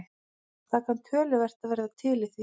Það kann töluvert að vera til í því.